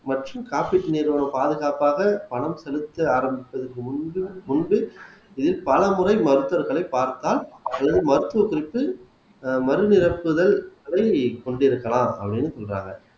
மற்றும் காப்பீட்டு நிறுவனம் பாதுகாப்பாக பணம் செலுத்த ஆரம்பித்தது முன்பு முன்பு இது பலமுறை மருத்துவர்களை பார்த்தால் அது வந்து மருத்துவத்திற்கு ஆஹ் மருந்து அனுப்புதல் அதை கொண்டிருக்கலாம் அப்படின்னு சொல்றாங்க